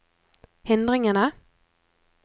hindringene